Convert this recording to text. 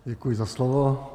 Děkuji za slovo.